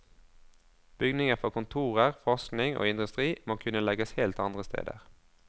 Bygninger for kontorer, forskning og industri må kunne legges helt andre steder.